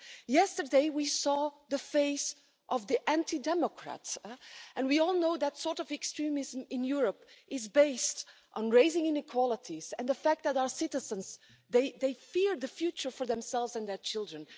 Yesterday, we saw the face of the anti democrats, and we all know that sort of extremism in Europe is based on raising inequalities and the fact that our citizens fear for the future for themselves and their children.